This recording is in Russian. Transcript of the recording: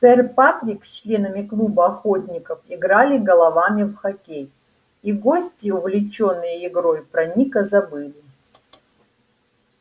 сэр патрик с членами клуба охотников играли головами в хоккей и гости увлечённые игрой про ника забыли